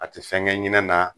A te fɛn kɛ ɲɛnɛn na